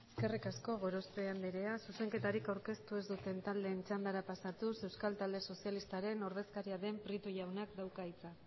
eskerrik asko gorospe anderea zuzenketarik aurkeztu ez duten taldeen txandara pasatuz euskal talde sozialistaren ordezkaria den prieto jaunak dauka hitza